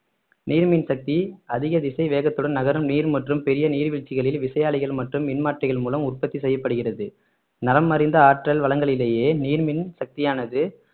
நீர் மின் சக்தி அதிக திசை வேகத்துடன் நகரும் நீர் மற்றும் பெரிய நீர்வீழ்ச்சிகளில் விசையாழிகள் மற்றும் மின்மாற்றிகள் மூலம் உற்பத்தி செய்யப்படுகிறது நலமறிந்த ஆற்றல் வளங்களிலேயே நீர் மின் சக்தியானது